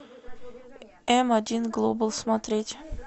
эм один глобал смотреть